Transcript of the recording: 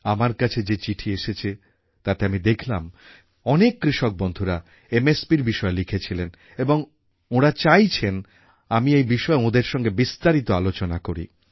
আমার কাছে যে চিঠি এসেছে তাতে আমি দেখলাম অনেক কৃষক বন্ধুরা MSPর বিষয়ে লিখেছিলেন এবং ওঁরা চাইছেন আমি এই বিষয়ে ওঁদের সঙ্গে বিস্তারিত আলোচনা করি